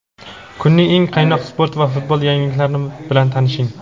Kunning eng qaynoq sport va futbol yangiliklarni bilan tanishing:.